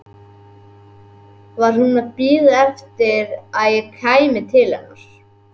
Var hún að bíða eftir að ég kæmi til hennar?